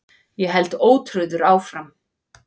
Ég held ótrauður áfram.